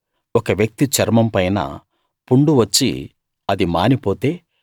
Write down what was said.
ఒక వ్యక్తి చర్మం పైన పుండు వచ్చి అది మానిపోతే